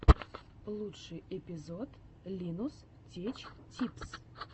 лучший эпизод линус теч типс